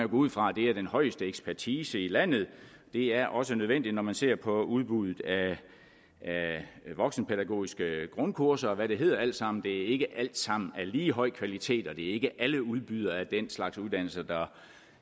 ud fra at det er den højeste ekspertise i landet det er også nødvendigt når man ser på udbuddet af voksenpædagogiske grundkurser og hvad det hedder alt sammen det er ikke alt sammen af lige høj kvalitet og det er ikke alle udbydere af den slags uddannelser der